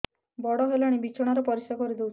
ବଡ଼ ହେଲାଣି ବିଛଣା ରେ ପରିସ୍ରା କରିଦେଉଛି